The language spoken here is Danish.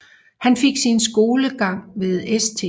Han fik sin skolegang ved St